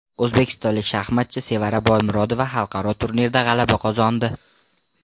O‘zbekistonlik shaxmatchi Sevara Boymurodova xalqaro turnirda g‘alaba qozondi.